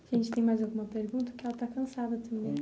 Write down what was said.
Você tem mais alguma pergunta, que ela está cansada também.